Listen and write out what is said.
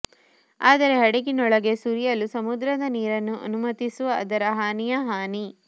ಆದರೆ ಹಡಗಿನೊಳಗೆ ಸುರಿಯಲು ಸಮುದ್ರದ ನೀರನ್ನು ಅನುಮತಿಸುವ ಅದರ ಹಾನಿಯ ಹಾನಿ